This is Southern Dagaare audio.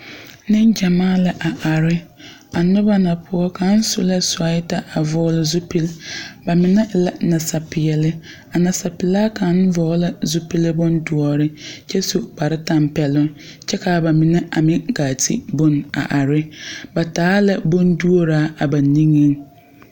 Neŋgyamaa la a are a noba na poɔ kaŋa su la suwɛɛta a vɔgle zupili ba mine e la a nasapeɛle nasapelaa kaŋa vɔgle la zupili boŋ doɔre kyɛ su kpare tampɛloŋ kyɛ ka ba mine a meŋ kaa ti bone a are ba taa la bonduoraa a ba niŋeŋ.